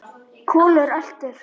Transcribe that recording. Kolur eltir.